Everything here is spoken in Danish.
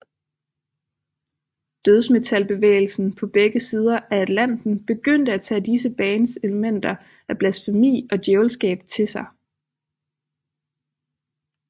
Dødsmetalbevægelsen på begge sider af Atlanten begyndte at tage disse bands elementer af blasfemi og djævelskab til sig